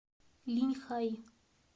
линьхай